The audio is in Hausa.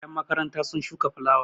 yanmakaranta sun shuka filulawa